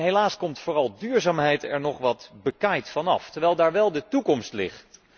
Helaas komt vooral duurzaamheid er nog wat bekaaid van af, terwijl daar wél de toekomst ligt.